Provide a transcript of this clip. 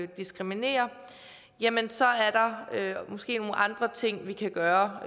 diskriminerer så er der måske nogle andre ting vi kan gøre